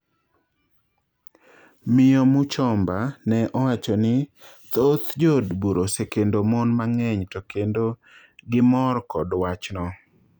Miyo Muchomba ne owacho ni thoth joodbura osekendo mon mang'eny to kendo gimor kod wach no